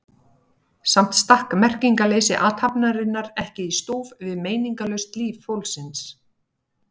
Samt stakk merkingarleysi athafnarinnar ekki í stúf við meiningarlaust líf fólksins.